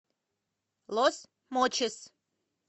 лос мочис